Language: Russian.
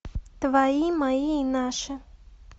твои мои и наши